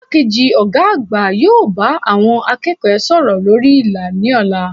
Igbákejì Ògá àgbà yóò bá àwon akéèkó sòrò lórí ìlà ní òla